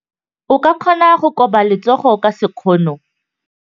O ka kgona go koba letsogo ka sekgono.